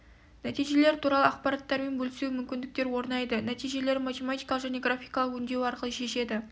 нәтижелері туралы ақпараттармен бөлісуге мүмкіндіктер орнайды нәтижелерін математикалық және графикалық өңдеу арқылы шешеді